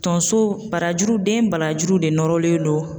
Tonso, barajuru, den barajuru de nɔrɔlen don